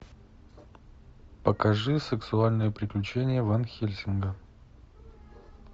покажи сексуальные приключения ван хельсинга